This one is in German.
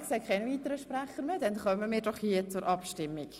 Ich sehe keine weiteren Sprecher mehr, also kommen wir zur Abstimmung.